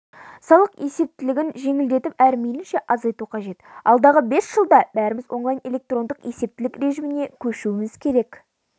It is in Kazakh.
салық есептілігін жеңілдетіп әрі мейлінше азайту қажет алдағы бес жылда бәріміз онлайн-электрондық есептілік режіміне көшуіміз керек